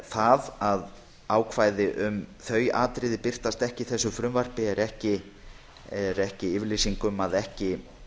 það að ákvæði um þau atriði birtast ekki í þessu frumvarpi er ekki yfirlýsing um að ekki